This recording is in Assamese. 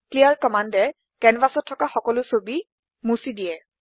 ক্লিয়াৰ কম্মান্দ এ কেনভাচত থকা সকলো ছবি মোচি দিয়ে